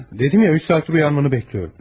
Dedim axı 3 saatdır oyanmanı gözləyirəm.